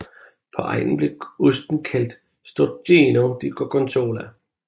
På egnen blev osten kaldt Stracchino di Gorgonzola